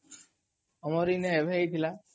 ଆମର୍ ଏଇନେ ଏବେ ହିଁ ହେଇଥିଲା